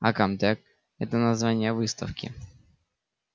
а комтек это название выставки